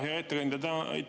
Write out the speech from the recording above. Hea ettekandja!